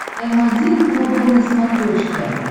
м один глобал на смотрешке